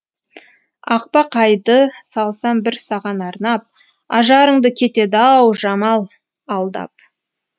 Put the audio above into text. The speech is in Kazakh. ақбақайды салсам бір саған арнап ажарыңды кетеді ау жамал алдап